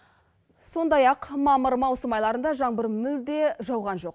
сондай ақ мамыр маусым айларында жаңбыр мүлде жауған жоқ